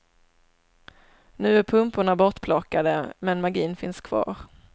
Nu är pumporna bortplockade men magin finns kvar.